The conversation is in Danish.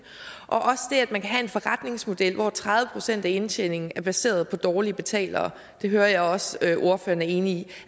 og det at man kan have forretningsmodel hvor tredive procent af indtjeningen er baseret på dårlige betalere jeg hører også at ordføreren er enig i